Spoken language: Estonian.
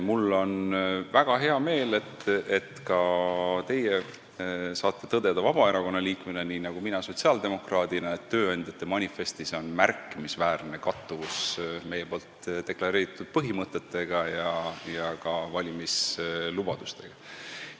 Mul on väga hea meel, et nii nagu mina sotsiaaldemokraadina saate ka teie Vabaerakonna liikmena tõdeda, et tööandjate manifestis on märkimisväärne kattuvus meie deklareeritud põhimõtete ja ka valimislubadustega.